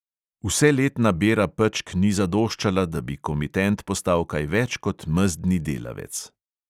Vseletna bera pečk ni zadoščala, da bi komitent postal kaj več kot mezdni delavec.